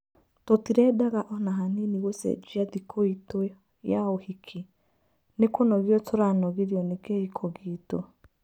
Tũtirendaga ona hanini gũcenjia thĩkũitũya ũhiki. Nĩ kũnogio turanogirĩo nĩ kĩhiko gĩtũ